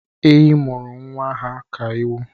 Ehi mụrụ nwa ha ka ewu